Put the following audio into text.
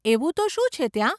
એવું તો શું છે ત્યાં?